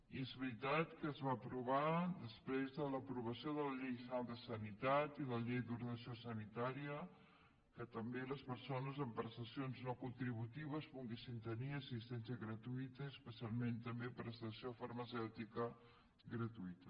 i és veritat que es va aprovar després de l’aprovació de la llei general de sanitat i de la llei d’ordenació sanitària que també les persones amb prestacions no contributives poguessin tenir assistència gratuïta i especialment també prestació farmacèutica gratuïta